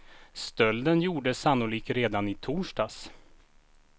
Stölden gjordes sannolikt redan i torsdags.